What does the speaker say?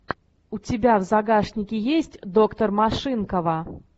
у тебя в загашнике есть доктор машинкова